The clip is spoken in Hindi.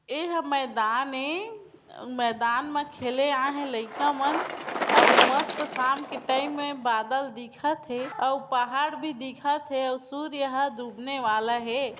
एहा मैदान ए मैदान में खेले आए हे लईका मन अऊ मस्त साम के टाइम हे बादल दिखत हे अऊ पहाड़ भी दिखत हे अऊ सूर्य ह डूबने वाला हे ।